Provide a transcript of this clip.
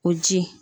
O ji